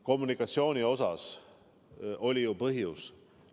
Kommunikatsioonil oli ju põhjus.